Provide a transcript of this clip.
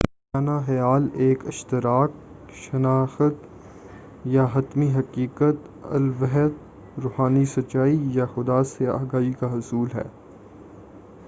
صوفیانہ خیال ایک اشتراک شناخت یا حتمی حقیقت الوہیت روحانی سچائی یا خدا سے آگاہی کا حصول ہے